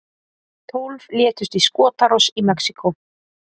Tólf létust í skotárás í Mexíkó